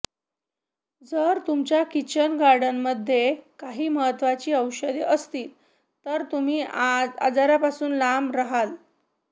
जर तुमच्या किचन गार्डनमध्येही काही महत्त्वाची औषधं असतील तर तुम्ही आजारापासून लांब रहाल